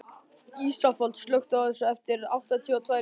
Ísafold, slökktu á þessu eftir áttatíu og tvær mínútur.